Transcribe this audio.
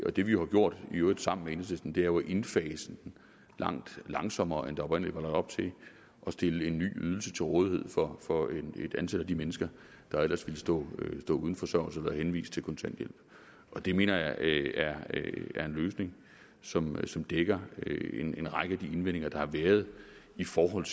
og det vi har gjort i øvrigt sammen med enhedslisten er jo at indfase den langt langsommere end der oprindelig var lagt op til og stillet en ny ydelse til rådighed for for et antal af de mennesker der ellers ville stå uden forsørgelse eller være henvist til kontanthjælp det mener jeg er en løsning som som dækker en række af de indvendinger der har været i forhold